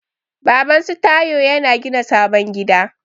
Babansu Taiwo ya gina sabon gida.